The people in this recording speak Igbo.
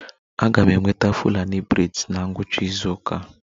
Aga m enweta Fulani braids na ngwụcha izu ụka